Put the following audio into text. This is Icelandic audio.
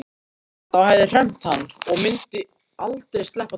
Það hafði hremmt hann og myndi aldrei sleppa takinu.